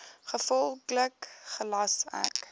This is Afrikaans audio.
gevolglik gelas ek